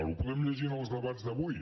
ho podem llegir en els debats d’avui